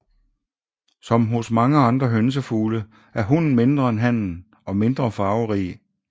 Som hos mange andre hønsefugle er hunnen mindre end hannen og mindre farverig